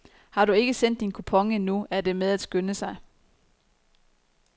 Har du ikke sendt din kupon endnu, er det med at skynde sig.